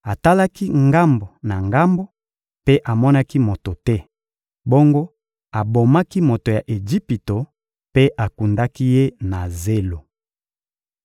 Atalaki ngambo na ngambo mpe amonaki moto te; bongo abomaki moto ya Ejipito mpe akundaki ye na zelo.